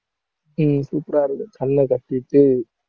உம் super ஆ இருக்கு கண்ணை கட்டிட்டு